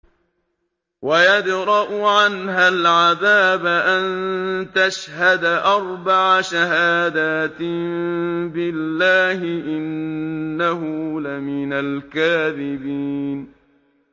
وَيَدْرَأُ عَنْهَا الْعَذَابَ أَن تَشْهَدَ أَرْبَعَ شَهَادَاتٍ بِاللَّهِ ۙ إِنَّهُ لَمِنَ الْكَاذِبِينَ